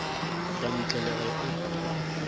ka ntle le ge e